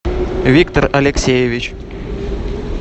виктор алексеевич